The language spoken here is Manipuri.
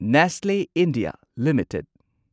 Nestlé India limited